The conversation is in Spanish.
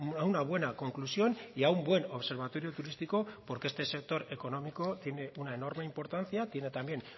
a una buena conclusión y a un buen observatorio turístico porque este sector económico tiene una enorme importancia tiene también